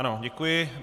Ano, děkuji.